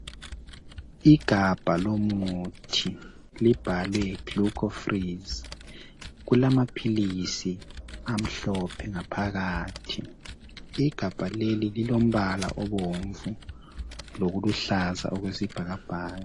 Igabha lomuthi libhalwe GLUCO FREEZE kulamaphilisi amhlophe ngaphakathi igabha leli lilombala obomvu lokuluhlaza okwesibhakabhaka.